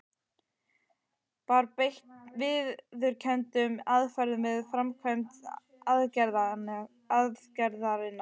Var beitt viðurkenndum aðferðum við framkvæmd aðgerðarinnar?